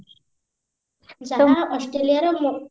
ଯାହା ଅଷ୍ଟ୍ରେଲିଆର ମୋ